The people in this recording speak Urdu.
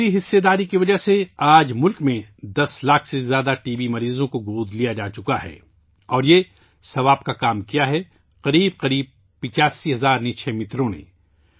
اس شراکت داری کی وجہ سے آج ملک میں ٹی بی کے 10 لاکھ سے زیادہ ٹی بی مریضوں کو گود لیا جاچکا ہے اور یہ ثوام کا کام کیا ہے تقریباً 85 ہزار نکشے متروں نے